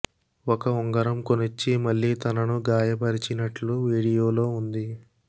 ఒక ఉంగరం కొనిచ్చి మళ్లీ తనను గాయపరిచినట్లు వీడియో లో ఉంది